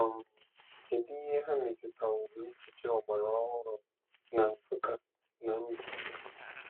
um Kedu ihe ha metụtaworo echiche ọgbara ọhụrụ na Nsukka na Mbaise?